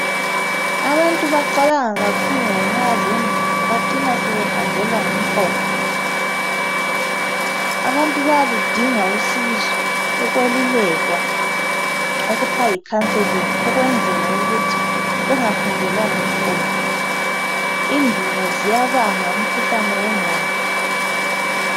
Abantu bacabanga kakhulu ngenxa zendubo bacina behanjelwa ngumqondo, abantu bayaludinga usizo ukwelulekwa okuthiwa yi counselling ukwenzela ukuthi bengahanjelwa ngumqondo. Indubo ziyabanga umkhuhlane wenqondo